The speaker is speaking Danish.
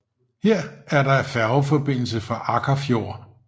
Her er der færgeforbindelse fra Akkarfjord